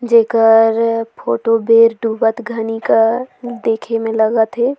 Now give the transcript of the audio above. जेकर फोटो बेर डोबत घनी क देखे में लगत है।